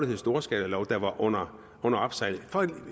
hed storskalalov der var under opsejling